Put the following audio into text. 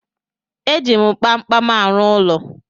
E ji m kpamkpam arụ ụlọ